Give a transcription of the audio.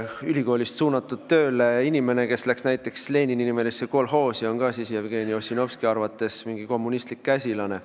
Ülikoolist näiteks Lenini-nimelisse kolhoosi tööle suunatud inimene oli ka siis Jevgeni Ossinovski arvates mingi kommunistlik käsilane.